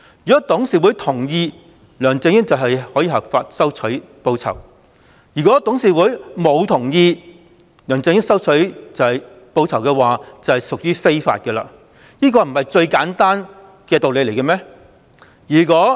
如果董事會同意，梁振英便可以合法收取報酬，如果董事會沒有同意，而梁振英收取報酬，便屬於非法，這不是最簡單的道理嗎？